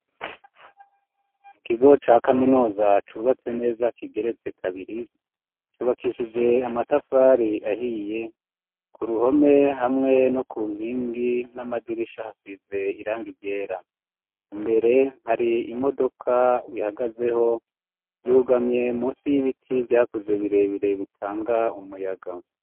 Mu kigo ca kaminuza cubatse neza kigeretse kabiri, cubakishije amatafari ahiye, ku ruhome hamwe no ku nkingi n'amadirisha ,hasize irangi ryera ,Imbere hari imodoka ihagazeho yugamye munsi y'ibiti, vyakuze birebire bitanga umuyaga.